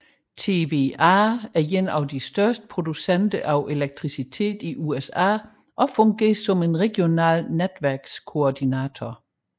TVA er en af de største producenter af elektricitet i USA og fungerer som en regional netværkskoordinator